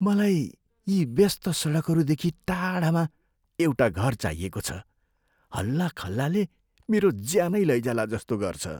मलाई यी व्यस्त सडकहरूदेखि टाढामा एउटा घर चाहिएको छ, हल्लाखल्लाले मेरो ज्यानै लैजाला जस्तो गर्छ।"